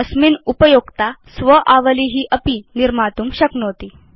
अस्मिन् उपयोक्ता स्व आवली अपि निर्मातुं शक्नोति